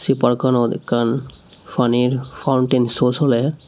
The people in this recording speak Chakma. se park kanot ekkan panir fountain show soler.